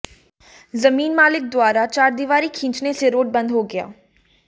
जमीन मालिक द्वारा चारदीवारी खींचने से रोड बंद हो गया